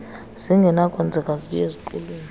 zingenakwenzeka zibuye ziqulunqwe